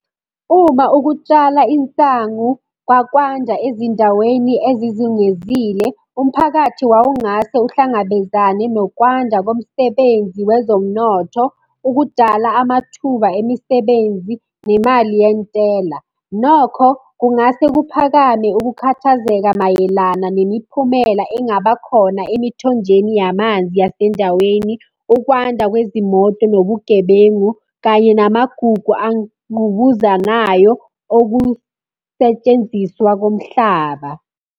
Uma ukutshala insangu kwakwanja ezindaweni ezizungezile, umphakathi wawungase uhlangabezane nokwanda komsebenzi wezomnotho, ukudala amathuba emisebenzi, nemali yentela. Nokho kungase kuphakame ukukhathazeka mayelana nemiphumela engaba khona emithonjeni yamanzi asendaweni, ukwanda kwezimoto nobugebengu, kanye namagugu angqubuzanayo okusetshenziswa komhlaba.